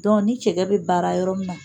ni cɛgɛ bɛ baara yɔrɔ min na